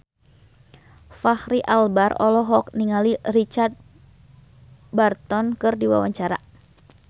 Fachri Albar olohok ningali Richard Burton keur diwawancara